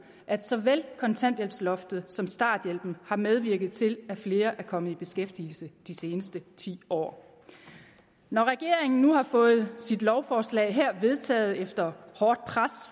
at såvel kontanthjælpsloftet som starthjælpen har medvirket til at flere er kommet i beskæftigelse de seneste ti år når regeringen nu har fået sit lovforslag her vedtaget efter hårdt pres